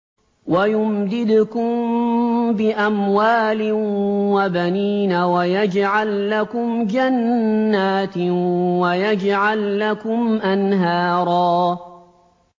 وَيُمْدِدْكُم بِأَمْوَالٍ وَبَنِينَ وَيَجْعَل لَّكُمْ جَنَّاتٍ وَيَجْعَل لَّكُمْ أَنْهَارًا